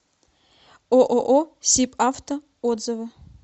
ооо сибавто отзывы